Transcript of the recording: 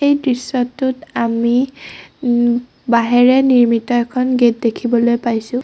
দৃশ্যটোত আমি উম বাঁহেৰে নিৰ্মিত এখন গেট দেখিবলৈ পাইছোঁ।